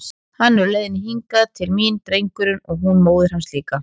Hann er á leiðinni hingað til mín, drengurinn, og hún móðir hans líka!